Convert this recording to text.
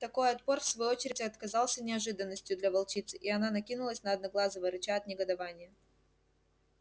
такой отпор в свою очередь отказался неожиданностью для волчицы и она накинулась на одноглазого рыча от негодования